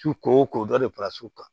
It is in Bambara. Su ko o ko dɔ de fara su kan